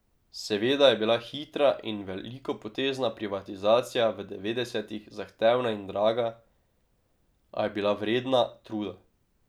Seveda je bila hitra in velikopotezna privatizacija v devetdesetih zahtevna in draga, a je bila vredna truda.